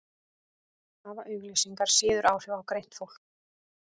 hafa auglýsingar síður áhrif á greint fólk